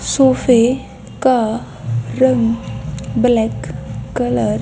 सोफे का रंग ब्लैक कलर --